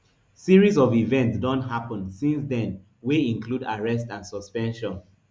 series of events don happun since den wey include arrest and suspension